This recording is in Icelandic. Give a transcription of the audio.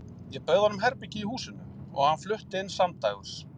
Ég bauð honum herbergi í húsinu og hann flutti inn samdægurs.